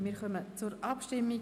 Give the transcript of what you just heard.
Wir kommen zur Abstimmung.